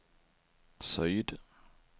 syd